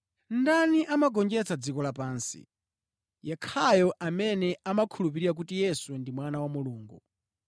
Ndani amagonjetsa dziko lapansi? Yekhayo amene amakhulupirira kuti Yesu ndi Mwana wa Mulungu.